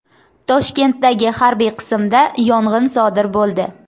Toshkentdagi harbiy qismda yong‘in sodir bo‘ldi.